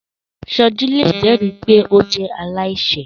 Soji le jẹri pe o jẹ alaiṣẹ